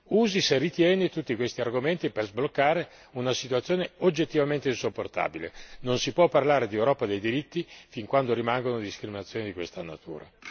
Usi, se ritiene, tutti questi argomenti per sbloccare una situazione oggettivamente insopportabile, non si può parlare di Europa dei diritti fin quando rimangono discriminazioni di questa natura.